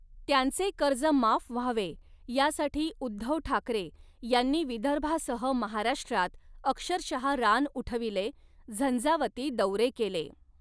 त्यांचे कर्ज माफ व्हावे यासाठी उद्धव ठाकरे यांनी विदर्भासह महाराष्ट्रात अक्षरशः रान उठविले, झंझावती दौरे केले.